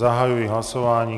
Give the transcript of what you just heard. Zahajuji hlasování.